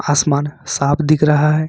आसमान साफ दिख रहा है।